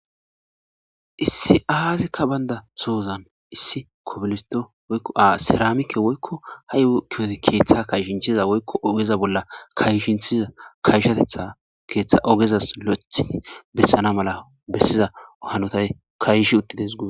Issi aziyika banda soza issi kobilisto woykon saramike woykon ha yohozi ketha kayshethiza oga bolla kahishethiza kashatetha kethay ogeza besana Malay lo'othi kashi uttides gusa